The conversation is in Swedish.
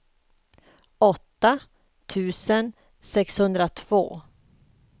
åtta tusen sexhundratvå